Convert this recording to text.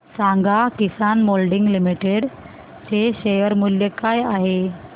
सांगा Kisan moulding limited चे share मूल्य काय आहे